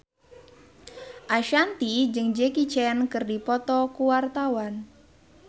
Ashanti jeung Jackie Chan keur dipoto ku wartawan